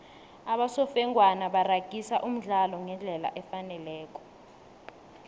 abosofengwana baragisa umdlalo ngendlela efaneleko